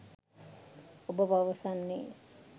ඔබ පවසන්නේ